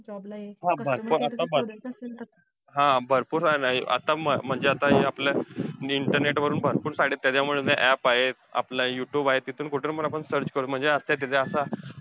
हा. भर भरपूर हा भरपूर आहे ना. आता म्हणजे आता आपल्या internet वरून भरपूर site आहेत. त्याच्यामुळे ते app आहेत. आपलं youtube आहे तिथून कुठून पण आपण search करू, म्हणजे असत्या तिथं असं.